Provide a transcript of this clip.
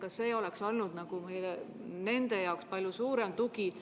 Kas see ei oleks olnud nende jaoks palju suurem tugi?